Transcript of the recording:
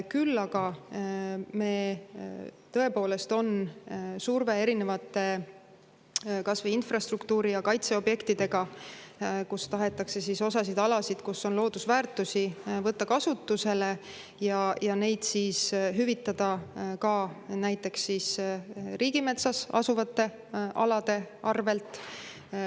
Küll aga, tõepoolest, on surve erinevate kas või infrastruktuuri‑ ja kaitseobjektidega, kus tahetakse osa alasid, kus on loodusväärtusi, võtta kasutusele ja neid hüvitada ka näiteks riigimetsas asuvate alade arvel.